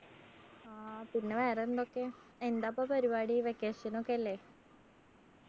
ആ പിന്നെ വേറൊന്തക്കയാ എന്താപ്പോ പരിപാടി? vacation നൊക്കെയല്ലേ?